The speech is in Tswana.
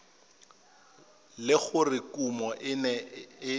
le gore kumo e ne